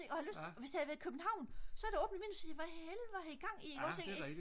og hvis det havde været københavn så havde jeg da åbnet vinduet og sagt hvad helvede har gang i